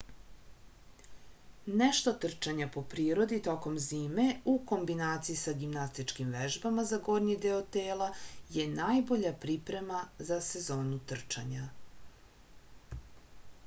nešto trčanja po prirodi tokom zime u kombinaciji sa gimnastičkim vežbama za gornji deo tela je najbolja priprema za sezonu trčanja